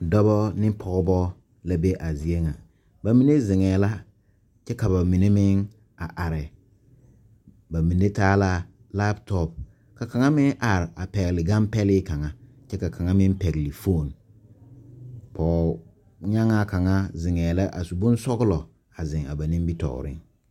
Dɔbɔ ne pɔɔbɔ la be a zie ŋaŋ ba mine zeŋɛɛ la kyɛ ka ba mine meŋ a are ba mine taala laptop kaŋa meŋ are a pɛgle gan pɛlee kaŋ kyɛ ka kaŋa meŋ pɛgle foon pɔɔnyagŋaa kaŋa meŋ zeŋɛɛ la a su bonsɔglɔ a zeŋ a ba nimitooreŋ.